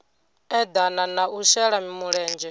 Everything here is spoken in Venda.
eḓana na u shela mulenzhe